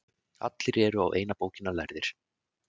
Allir eru á eina bókina lærðir.